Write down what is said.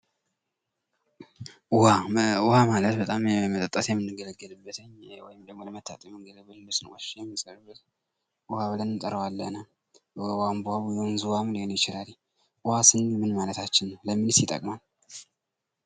ውሃ ፡-ውሃ ለመጠጥነት የምንገለገልበት እንዲሁም ለመታጠቢያነት የሚጠቅም ውሃ ብለን እንጠራዋለን። የቧንቧ፣ የወንዝ ሊሆን ይችላል ።ውሃ ስንል ምን ማለታችን ነው ለምንስ ይጠቅማል?